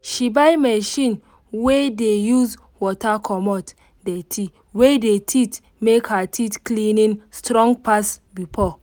she buy machine wey dey use water comot dirty wey dey teeth make her teeth cleaning strong pass before